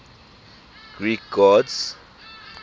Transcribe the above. greek gods